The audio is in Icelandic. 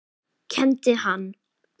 Kenndi hann